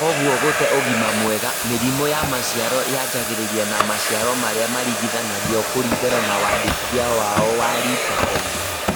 Kwoguo gũte ũgima mwega. Mĩrimũ ya maciaro yanjagĩrĩria na maciaro marĩa maringithanagio kũringana na wandĩkithie wao wa Litecoin